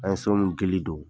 An ye so nu ŋili don